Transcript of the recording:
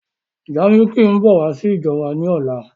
Jaymikee ń bọ̀ wá sí ìjọ wa ni ọ̀la.